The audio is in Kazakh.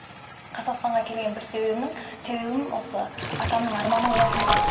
қазақстанға келген бір себебімнің себебім осы атамның арманы болатын да